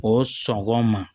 O sɔngɔn ma